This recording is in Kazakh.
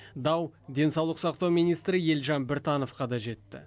дау денсаулық сақтау министрі елжан біртановқа да жетті